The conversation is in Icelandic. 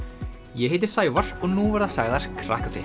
ég heiti Sævar og nú verða sagðar